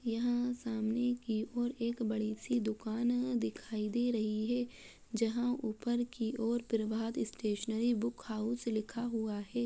यहाँ सामने की और एक बड़ी सी दुकान है दिखाई दे रही है जहाँ ऊपर की और प्रभात स्टेशनरी बुक हाउस लिखा हुआ है।